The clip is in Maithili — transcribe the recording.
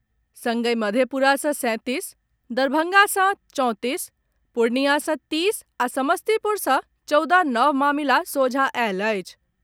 संगहि मधेपुरा सॅ सैंतीस, दरभंगा सॅ चौंतीस, पूर्णिया सॅ तीस आ समस्तीपुर सॅ चौदह नव मामिला सोझा आयल अछि।